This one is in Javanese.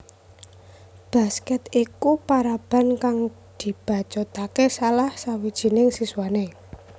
Basket iku paraban kang dibacutake salah sawijining siswane